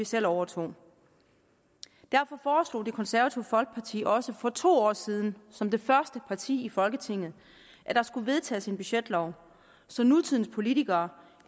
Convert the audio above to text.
selv overtog derfor foreslog det konservative folkeparti også for to år siden som det første parti i folketinget at der skulle vedtages en budgetlov så nutidens politikere